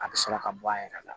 A bɛ sɔrɔ ka bɔ a yɛrɛ la